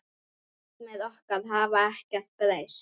Markmið okkar hafa ekkert breyst.